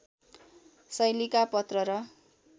शैलीका पत्र र